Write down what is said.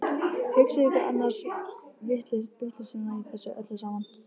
Hugsið ykkur annars vitleysuna í þessu öllu saman!